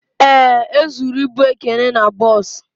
Ee, e zụrụ ịbụ Ekene n'bos